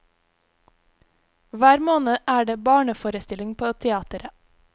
Hver måned er det barneforestilling på teatret.